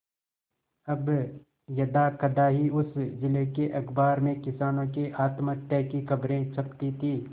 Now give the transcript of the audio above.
अब यदाकदा ही उस जिले के अखबार में किसानों के आत्महत्या की खबरें छपती थी